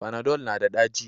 Fanadol na da ɗaci